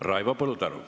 Raivo Põldaru.